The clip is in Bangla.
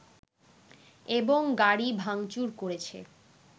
এবং গাড়ি ভাঙচুর করেছে